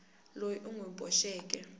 loyi u n wi boxeke